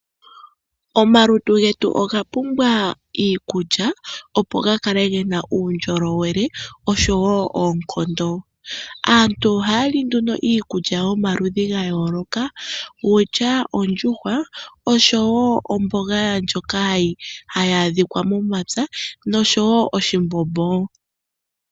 Omalutu getu oga pumbwa iikulya opo ga kale gena uundjolowele, osho woo oonkondo. Aantu oha ya li nduno iikulya yomaludhi ga yooloka, wutya ondjuhwa, osho woo omboga ndyoka hayi adhikwa momapya, nosho woo oshimbombo.